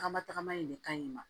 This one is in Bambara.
Tagama tagama in de ka ɲi ma